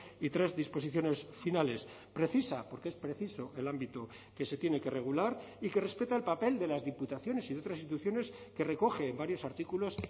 y tres disposiciones finales precisa porque es preciso el ámbito que se tiene que regular y que respeta el papel de las diputaciones y de otras instituciones que recoge en varios artículos